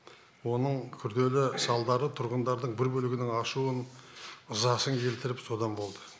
оның күрделі салдары тұрғындардың бір бөлігінің ашуын ызасын келтіріп содан болды